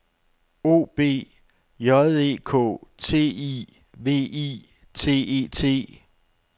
O B J E K T I V I T E T